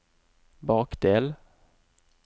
bakdel